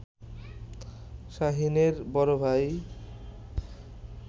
শাহীনের বড় ভাই